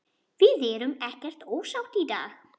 Við erum ekkert ósátt í dag.